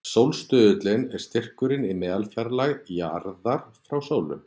Sólstuðullinn er styrkurinn í meðalfjarlægð jarðar frá sólu.